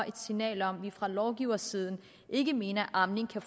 et signal om at vi fra lovgivers side ikke mener at amning skal